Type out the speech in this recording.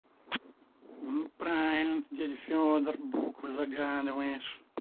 неправильно ты дядя фёдор буквы загадываешь